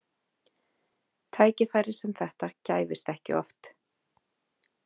Tækifæri sem þetta gæfist ekki oft.